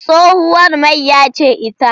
Tsohuwar mayya ce ita.